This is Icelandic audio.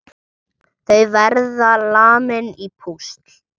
Þau verða lamin í púsl!